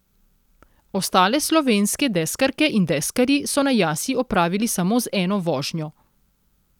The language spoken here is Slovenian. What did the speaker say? Ostale slovenske deskarke in deskarji so na Jasi opravili samo z eno vožnjo.